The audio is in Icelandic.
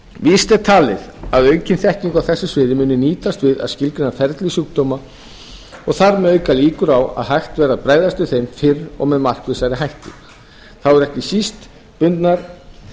víst er talið að aukin þekking á þessu sviði muni nýtast við að skilgreina ferli sjúkdóma og þar með auka líkur á að hægt verði að bregðast við þeim fyrr og með markvissari hætti þá eru ekki síst bundnar